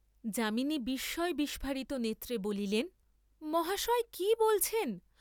যামিনী বিস্ময় বিস্ফারিত নেত্রে বলিলেন মহাশয় কি বলছেন?